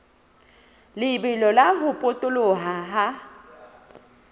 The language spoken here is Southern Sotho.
lebelo la ho potoloha ha